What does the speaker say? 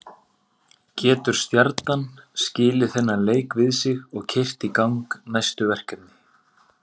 Getur Stjarnan skilið þennan leik við sig og keyrt í gang næstu verkefni?